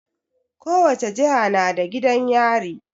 Ko wace jiha na da gidan yari.